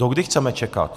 Dokdy chceme čekat?